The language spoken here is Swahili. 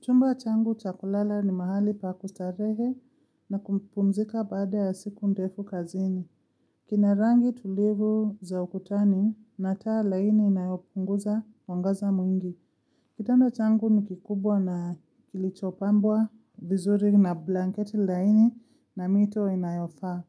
Chumba changu cha kulala ni mahali pa kustarehe na kumpumzika baada ya siku ndefu kazini. Kina rangi tulivu za ukutani na taa laini inayopunguza mwangaza mwingi. Kitanda changu ni kikubwa na kilichopambwa vizuri na blanket laini na mito inayofaa.